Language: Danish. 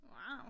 Wow